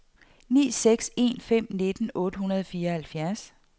ni seks en fem nitten otte hundrede og fireoghalvfjerds